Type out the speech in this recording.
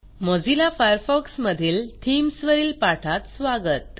Mozilla Firefox मधील themes वरील पाठात स्वागत